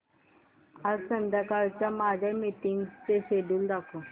आज संध्याकाळच्या माझ्या मीटिंग्सचे शेड्यूल दाखव